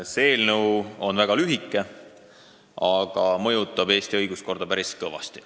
See eelnõu on väga lühike, aga mõjutab Eesti õiguskorda päris kõvasti.